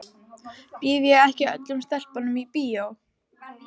Býð ég ekki öllum stelpum í bíó?